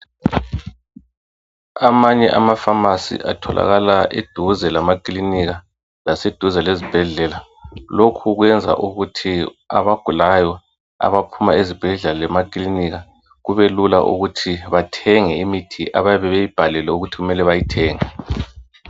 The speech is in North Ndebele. Amanye amaphamacy atholakala eduze lamaclinika laseduze kwasezibhedlela lokhu kuyenza ukuthi abagulayo abaphuma ezibhedlela lemaclinika kube lula ukuthi bathenge imithi ababe beyibhalelwe ukuthi kumele beyithenge